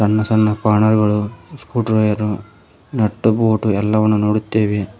ಸಣ್ಣ ಸಣ್ಣ ಸ್ಪನ್ನರ್ ಗಳು ಸ್ಕ್ರೂ ಡ್ರೈವರು ನಟ್ಟು ಬೊಲ್ಟು ಎಲ್ಲವನ್ನು ನೋಡುತ್ತೇವೆ.